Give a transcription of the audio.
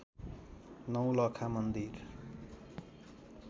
नौलखा मन्दिर